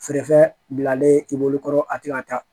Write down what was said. Feere fɛn bilalen i bolo kɔrɔ a tɛ ka taa